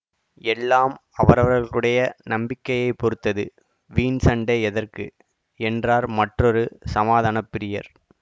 எல்லாம் அவரவர்களுடைய நம்பிக்கையைப் பொறுத்தது வீண் சண்டை எதற்கு என்றார் மற்றொரு சமாதான பிரியர்